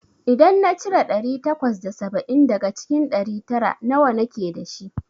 idan na cire ɗari takwas da saba'in daga cikin ɗari tara, nawa nake dashi?